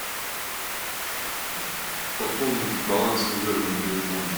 пополнить баланс служебного телефона